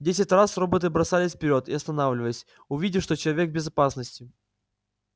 десять раз роботы бросались вперёд и останавливались увидев что человек в безопасности